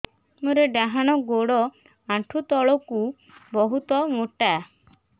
ମୋର ଡାହାଣ ଗୋଡ ଆଣ୍ଠୁ ତଳୁକୁ ବହୁତ ମୋଟା